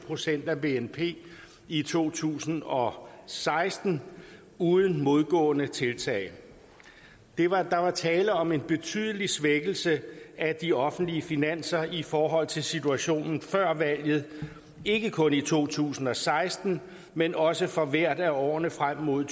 procent af bnp i to tusind og seksten uden modgående tiltag der var tale om en betydelig svækkelse af de offentlige finanser i forhold til situationen før valget ikke kun i to tusind og seksten men også for hvert af årene frem mod